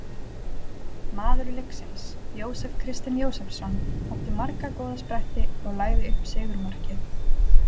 Maður leiksins: Jósef Kristinn Jósefsson- átti marga góða spretti og lagði upp sigurmarkið.